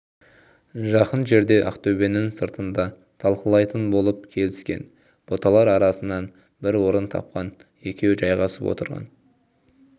жақын жерде ақтөбенің сыртында талқылайтын болып келіскен бұталар арасынан бір орын тапқан екеуі жайғасып отырған